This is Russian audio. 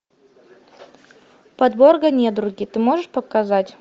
подборка недруги ты можешь показать